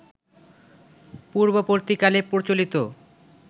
পূর্ববর্তীকালে প্রচলিত